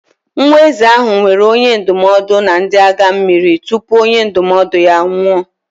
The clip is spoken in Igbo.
Nwa eze ahụ nwere onye ndụmọdụ na ndị agha mmiri tupu onye ndụmọdụ ya anwụọ.